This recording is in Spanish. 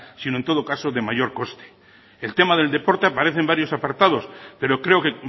sino en todo caso de mayor coste el tema del deporte aparecen varios apartados pero creo que